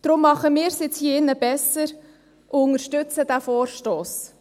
Deshalb machen wir hier im Saal es jetzt besser und unterstützen diesen Vorstoss.